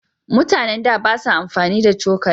Mutanen da ba sa amfani da cokali.